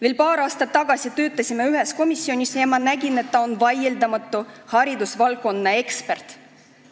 Veel paar aastat tagasi töötasime ühes komisjonis ja ma nägin, et ta on haridusvaldkonnas vaieldamatu ekspert.